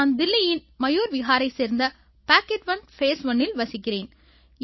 நான் தில்லியின் மயூர்விஹாரைச் சேர்ந்த பாக்கேட் ஒன் ஃபேஸ் ஒன்னில் வசிக்கிறேன்